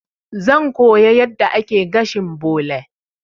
Zan koya yadda ake gashin bole.